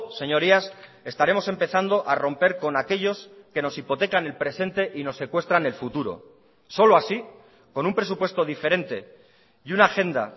señorías estaremos empezando a romper con aquellos que nos hipotecan el presente y nos secuestran el futuro solo así con un presupuesto diferente y una agenda